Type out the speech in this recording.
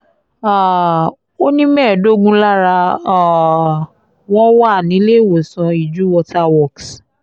um ó ní mẹ́ẹ̀ẹ́dógún lára um wọn wà níléèwọ̀sán iju water works